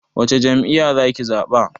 Wace jam'iya za ki zaɓa?